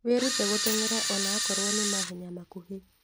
Wĩrute gũteng'era ona akorwo nĩ mahenya makuhĩ